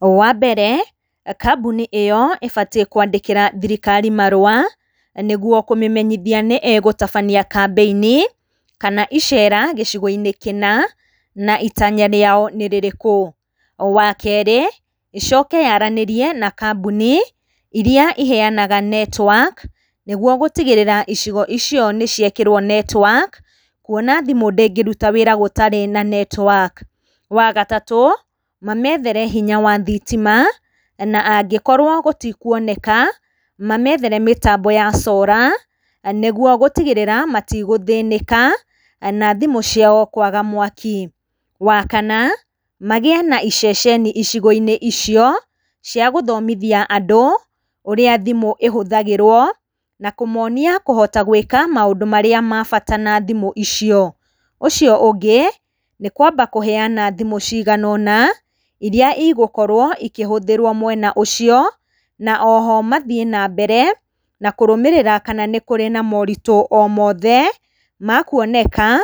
Wa mbere, kambuni ĩyo ĩbatiĩ kũandikĩra thirikari marũa nĩguo kũmĩmenyithia nĩ ĩgũtabania campaign kana icera gĩcigo-inĩ kĩna, na itanya rĩao nĩ rĩrĩkũ. Wa kerĩ, ĩcoke yaaranĩrie na kambuni iria iheanaga network nĩguo gũtigĩrĩra icigo icio nĩ ciekĩrwo network kũona thimũ ndĩngĩruta wĩra ĩtarĩ na network. Wa gatatũ, mameethere hinya wa thitima, na angĩkorwo gũtikũoneka, mameethere mĩtambo ya solar nĩguo gũtigĩrĩra matigũthĩnĩka na thimũ ciao kũaga mwaki. Wa kana, magĩe na iceceni icigo-inĩ icio cia gũthomithia andũ ũrĩa thimũ ĩhũthagĩrwo, na kũmoonia kũhota gwĩka maũndũ marĩa ma bata na thimũ icio. Ũcio ũngĩ, nĩ kwamba kũheana thimũ cigana ũna iria igũkorwo ikĩhũthĩrwo mwena ũcio na o ho, mathiĩ nambere na kũrũmĩrĩra kana nĩ kũrĩ ma moritũ o mothe makuoneka